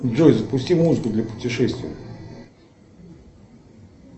джой запусти музыку для путешествий